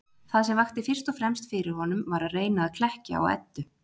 Það sem vakti fyrst og fremst fyrir honum var að reyna að klekkja á Eddu.